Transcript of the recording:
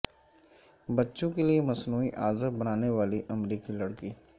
بچوں کے لیے مصنوعی اعضا بنانے والی امریکی لڑکی